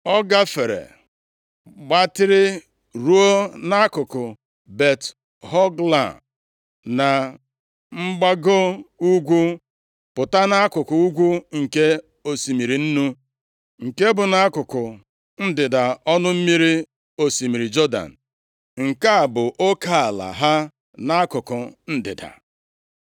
ọ gafere gbatịrị ruo nʼakụkụ Bet-Hogla na mgbago ugwu, pụta nʼakụkụ ugwu nke osimiri Nnu, nke bụ nʼakụkụ ndịda ọnụ mmiri osimiri Jọdan. Nke a bụ oke ala ha nʼakụkụ ndịda.